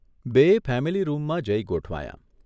બેય ફેમીલીરૂમમાં જઇ ગોઠવાયાં.